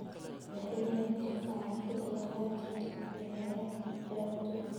Madaxweynaha ayaa meesha ka saaray canshuurtii laga qaadi jiray dukaamada hareeraha wadooyinka.